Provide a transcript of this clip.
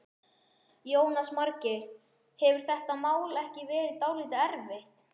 Jónas Margeir: Hefur þetta mál ekki verið dálítið erfitt?